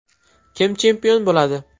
Kim chempion bo‘ladi?